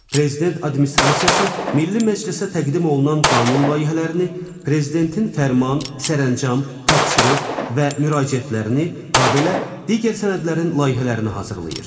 Prezident Administrasiyası Milli Məclisə təqdim olunan qanun layihələrini, Prezidentin fərman, sərəncam, tapşırıq və müraciətlərini, habelə digər sənədlərin layihələrini hazırlayır.